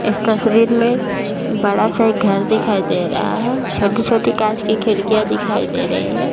इस तस्वीर में बड़ा सा एक घर दिखाई दे रहा है छोटी-छोटी कांच की खिड़कियाँ दिखाई दे रही हैं ।